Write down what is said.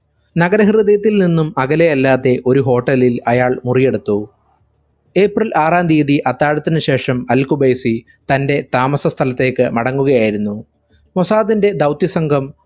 നഗര ഹൃദയത്തിൽ നിന്നും അകലെയല്ലാത്തെ ഒരു hotel ൽ അയാൾ മുറിയെടുത്തു. april ആറാം തിയതി അത്താഴത്തിനു ശേഷം അൽ ഖുബൈസി തന്റെ താമസ സ്ഥലത്തേക്കു മടങ്ങുകയായിരുന്നു. മൊസാദിന്റെ ദൗത്യ സംഘം